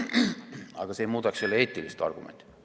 Aga see ei muudaks eetilist argumenti.